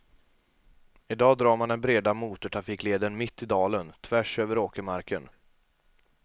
Idag drar man den breda motortrafikleden mitt i dalen, tvärs över åkermarken.